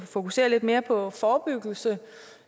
fokusere lidt mere på forebyggelse